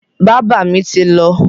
Bábà mi ti lọ.